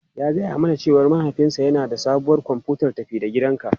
Ya gaya mana cewa mahaifinsa yana da sabuwar kwamfutar tafi-da-gidanka.